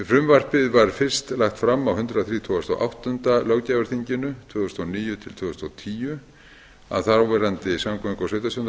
frumvarpið var fyrst lagt fram á hundrað þrítugasta og áttunda löggjafarþingi tvö þúsund og níu til tvö þúsund og tíu af þáverandi samgöngu og